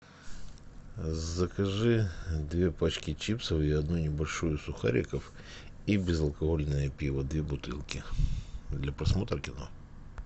закажи две пачки чипсов и одну небольшую сухариков и безалкогольное пиво две бутылки для просмотра кино